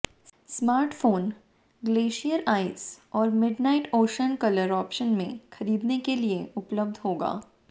smartphone glacier ice और midnight ocean colour option में खरीदने के लिए उपलब्ध होगा